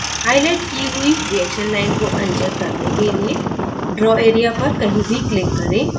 highlight की हुई reaction line को अनचेक करने के लिए draw area पर कहीं भी click करें